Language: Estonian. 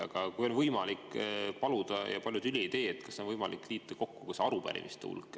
Aga kui on võimalik paluda ja palju tüli ei tee, siis kas on võimalik liita kokku ka arupärimiste hulk?